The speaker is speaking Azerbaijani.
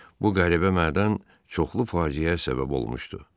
Bu qəribə mədən çoxlu faciəyə səbəb olmuşdu.